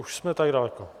Už jsme tak daleko.